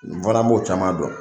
N fana b'o caman dɔn